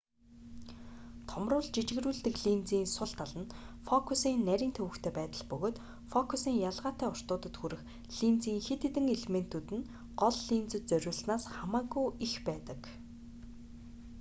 томруулж жижигрүүлдэг линзийн сул тал нь фокусын нарийн төвөгтэй байдал бөгөөд фокусын ялгаатай уртуудад хүрэх линзийн хэд хэдэн элементүүд нь гол линзэд зориулснаас хамаагүй их байдаг